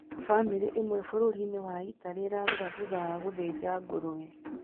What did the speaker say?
Famĩlĩ ĩmwe bũrũri-inĩ wa Italy ĩrarĩra thutha wa gũthĩnja ngũrwe